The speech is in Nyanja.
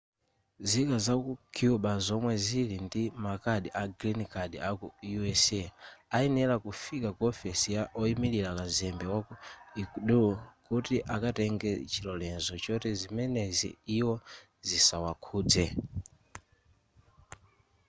nzika zaku cuba zomwe zili ndi makadi a green card aku us ayenera kufika ku ofesi ya oyimilira kazembe waku ecuador kuti akatenge chilolezo choti zimenezi iwo zisawakhuze